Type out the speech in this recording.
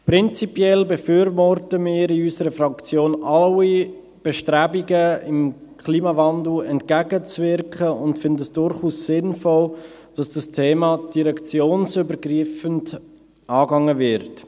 Prinzipiell befürworten wir in unserer Fraktion alle Bestrebungen, dem Klimawandel entgegenzuwirken, und finden es durchaus sinnvoll, dass das Thema direktionsübergreifend angegangen wird.